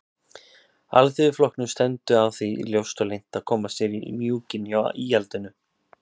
Alþýðuflokknum stefndu að því ljóst og leynt að koma sér í mjúkinn hjá íhaldinu.